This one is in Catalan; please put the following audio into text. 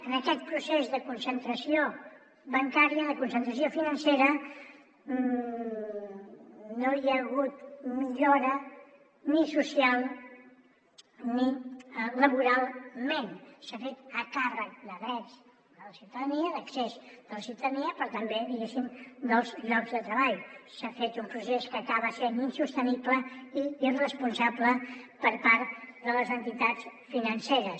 en aquest procés de concentració bancària de concentració financera no hi ha hagut millora ni social ni laboralment s’ha fet a càrrec de drets de la ciutadania d’accés de la ciutadania però també diguéssim dels llocs de treball s’ha fet un procés que acaba sent insostenible i irresponsable per part de les entitats financeres